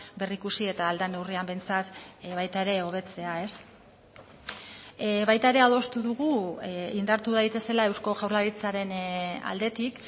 berrikusi eta ahal den neurrian behintzat baita ere hobetzea baita ere adostu dugu indartu daitezela eusko jaurlaritzaren aldetik